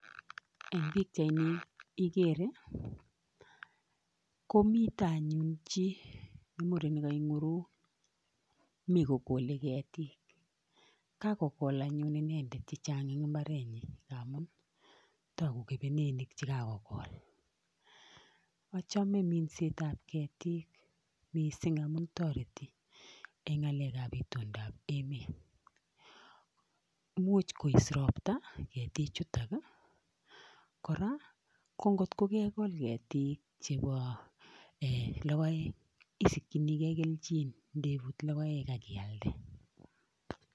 Eng pichait ni ikere komite anyun chi muren neke nguruk mi kokole ketik kakokol anyun inendet chechang eng koretnyi amu taku kebenenik chekakokol achome minsetab ketik mising amu toreti eng ngalekab itondab emet imuch kois ropta ketichutoki kora ko ngotko kekol ketik chebo lokoek isikchinigei kelchin ndebut lokoek akialde.